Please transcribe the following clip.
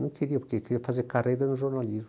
Não queria, porque queria fazer carreira no jornalismo.